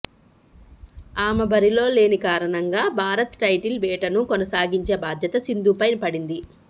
ఆమె బరిలో లేనికారణంగా భారత్ టైటిల్ వేటను కొనసాగించే బాధ్యత సింధుపై పడింది